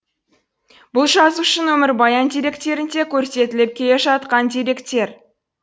бұл жазушының өмірбаян деректерінде көрсетіліп келе жатқан деректер